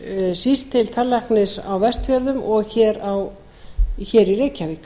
síst til tannlæknis á vestfjörðum og hér í reykjavík